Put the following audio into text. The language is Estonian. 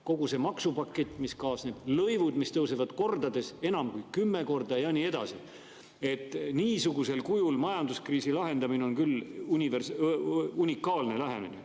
Kogu see maksupakett, mis kaasneb, lõivud, mis tõusevad kordades, enam kui kümme korda ja nii edasi – niisugusel kujul majanduskriisi lahendamine on küll unikaalne lähenemine.